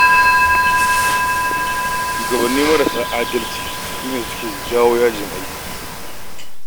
Shugabanni marasa adalci sune suke jawo yajin aiki.